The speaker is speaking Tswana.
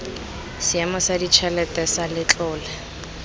seemo sa ditšhelete sa letlole